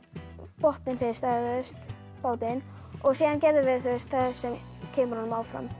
botninn fyrst eða bátinn og síðan gerðum við það sem kemur honum áfram